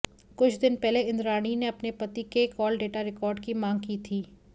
कुछ दिन पहले इंद्राणी ने अपने पति के कॉल डेटा रिकॉर्ड की मांग की थी